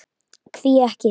Hví ekki?